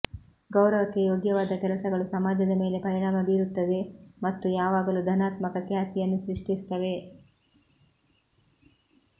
ಗೌರವಕ್ಕೆ ಯೋಗ್ಯವಾದ ಕೆಲಸಗಳು ಸಮಾಜದ ಮೇಲೆ ಪರಿಣಾಮ ಬೀರುತ್ತವೆ ಮತ್ತು ಯಾವಾಗಲೂ ಧನಾತ್ಮಕ ಖ್ಯಾತಿಯನ್ನು ಸೃಷ್ಟಿಸುತ್ತವೆ